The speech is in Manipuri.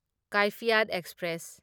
ꯀꯥꯢꯐꯤꯌꯥꯠ ꯑꯦꯛꯁꯄ꯭ꯔꯦꯁ